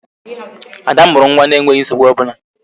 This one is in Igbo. Ada mụrụ nwa na-enweghị nsogbu ọbụla